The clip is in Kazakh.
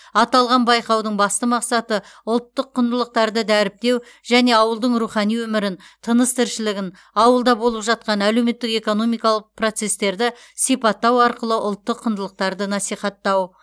аталған байқаудың басты мақсаты ұлттық құндылықтарды дәріптеу және ауылдың рухани өмірін тыныс тіршілігін ауылда болып жатқан әлеуметтік экономикалық процестерді сипаттау арқылы ұлттық құндылықтарды насихаттау